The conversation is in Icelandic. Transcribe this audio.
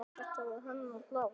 Þetta var hennar hlaða.